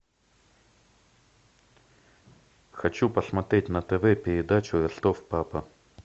хочу посмотреть на тв передачу ростов папа